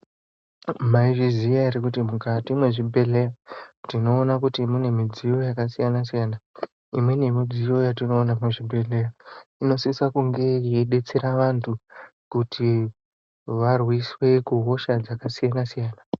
Mai zviziya ere kuti mukati me zvibhedhleya tino ona kuti mune mudziyo yaka siyana siyana imweni ye mudziyo yatino ona mu zvibhedhlera inosisa kunge yei detsera vantu kuti varwiswe ku hosha dzaka siyana siyana.